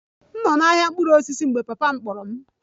M nọ n'ahịa mkpụrụ osisi mgbe papa m kpọrọ